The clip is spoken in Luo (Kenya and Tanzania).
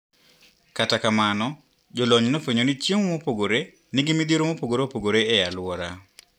Kata kamano jolony nofwenyoni chiemo mopogre nigi midhiero mopogre opogre e aluora.